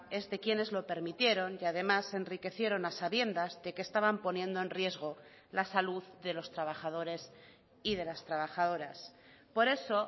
es de quienes lo permitieron y además se enriquecieron a sabiendas de que estaban poniendo en riesgo la salud de los trabajadores y de las trabajadoras por eso